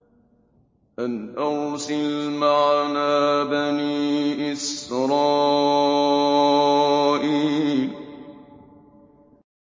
أَنْ أَرْسِلْ مَعَنَا بَنِي إِسْرَائِيلَ